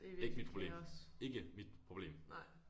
Ikke mit problem ikke mit problem